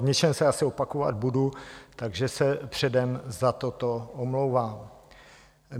V něčem se asi opakovat budu, takže se předem za toto omlouvám.